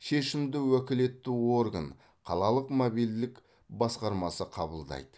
шешімді уәкілетті орган қалалық мобильділік басқармасы қабылдайды